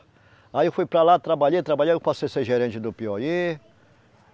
Aí eu fui para lá, trabalhei, trabalhei, aí eu passei a ser gerente do Piauí.